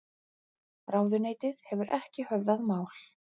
Ráðuneytið hefur ekki höfðað mál